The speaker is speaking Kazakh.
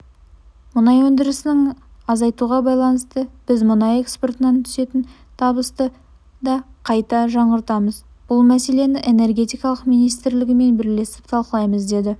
мұнай өндірісін азайтуға байланысты біз мұнай экспортынан түсетін табысты да қайта жаңартамыз бұл мәселені энергетика министрлігімен бірлесіп талқылаймыз деді